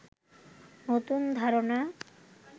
নতুন ধারণা